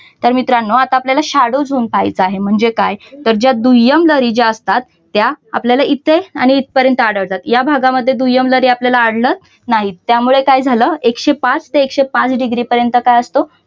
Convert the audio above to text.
तर मित्रांनो आता आपल्याला shadow zone पाहायचा आहे म्हणजे काय तर ज्या दुय्यम लहरी ज्या असतात. त्या आपल्याला इथे आणि इथपर्यंत आढळतात. या भागामध्ये आपल्याला दुय्यम लहरी आढळत नाहीत. त्यामुळे काय झालं एकशे पाच ते एकशे पाच डिग्री पर्यंत काय असतो